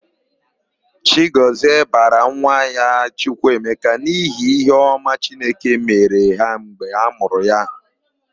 Chigọzie bara nwa ya Chukwuemeka n'ihi íhé ọma chineke mere ha mgbe amụrụ ya.